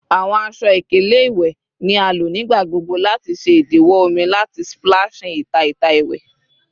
Awọn aṣọ-ikele iwẹ ni a lo nigbagbogbo lati ṣe idiwọ omi lati splashing ita ita iwẹ